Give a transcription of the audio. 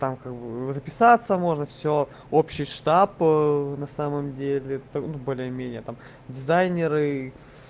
там как бы записаться можно все общий штаб на самом деле ну более менее там дизайнеры